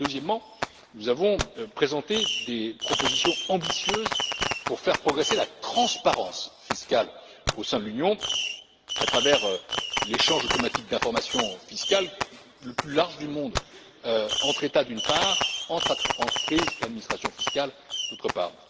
Deuxièmement, nous avons présenté des propositions ambitieuses pour faire progresser la transparence fiscale au sein de l'Union à travers l'échange automatique d'informations fiscales le plus vaste au monde entre États, d'une part, et entre entreprises et administrations fiscales, d'autre part.